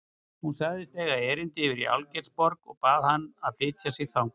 Hún sagðist eiga erindi yfir í Algeirsborg og bað hann að flytja sig þangað.